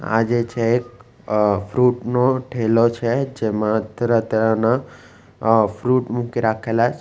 આજે છે એ એક અહ ફ્રુટ નો ઠેલો છે જેમાં તરહ તરહ ના અહ ફ્રુટ મૂકી રાખેલા છે.